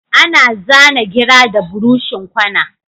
Ana zana gira da buroshin kwana